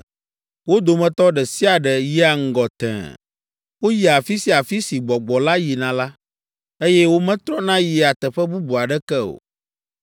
Wo dometɔ ɖe sia ɖe yia ŋgɔ tẽe. Woyia afi sia afi si gbɔgbɔ la yina la, eye wometrɔna yia teƒe bubu aɖeke o.